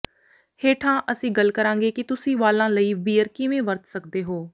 ਹੇਠਾਂ ਅਸੀਂ ਗੱਲ ਕਰਾਂਗੇ ਕਿ ਤੁਸੀਂ ਵਾਲਾਂ ਲਈ ਬੀਅਰ ਕਿਵੇਂ ਵਰਤ ਸਕਦੇ ਹੋ